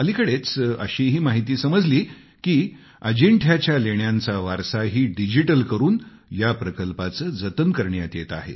अलिकडेच अशीही माहिती समजली की अंजिठ्याच्या लेण्यांचा वारसाही डिजिटल करून या प्रकल्पाचे जतन करण्यात येत आहे